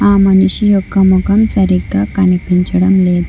ఆ మనిషి యొక్క ముఖం సరిగ్గా కనిపించడం లేదు.